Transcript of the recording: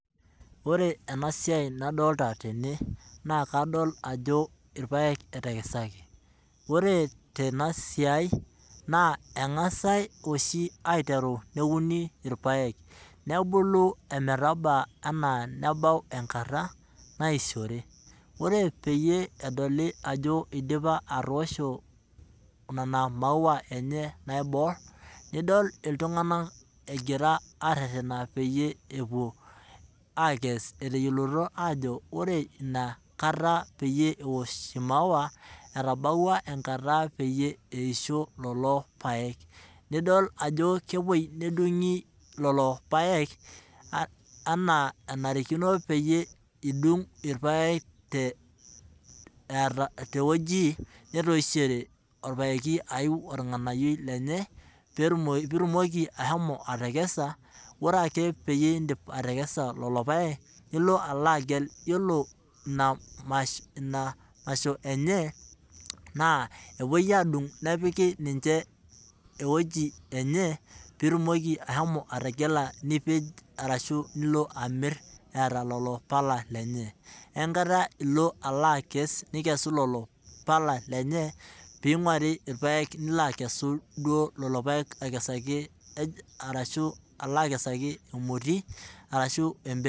Ore ena siai nadolita tee naa kadolita ajo irpaek etekesaki .ore tenasia enaa angasai oshi neuni irpaek ,nebulu ometabau enaa nabau enkata naishore, ore peyie edoli ajo eidipa atoosho nena mauwa enye naibor ,nidol iltunganak egira aretena peyie epuo akes etayioloito ajo ore inakata peyie eosh imauwa ,etabaua enkata peyie eisho lelo paek, nidol ajo kepwoi nedungi lelo paek enaa enarikino peyie idung lelo paek teweji netoishore orpaeki ayiu organayioi lenye pee itumoki ashomo atekesa ,,ore eke peyie idipa atekesa lelo paek nilo alo agel ,ore ina masho enye naa epuoi adung nepikita ninche eweji enye pee itumoki ashomo ategela nipej orashu ilo amir eeta lelo pala lenye wenkata nilo akes nigelu lelo pala lenye pee einguari irpaek nilo akesu lelo paek akesaki duo emoti aroshu embeshen.